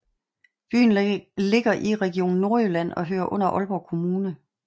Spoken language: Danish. Byen ligger i Region Nordjylland og hører under Aalborg Kommune